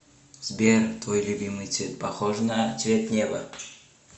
сбер твой любимый цвет похож на цвет неба